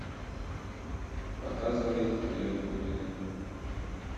показывай подъем с глубины